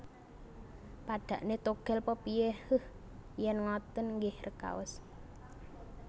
Padhakne Togel pa piye Huh Yen ngoten nggih rekaos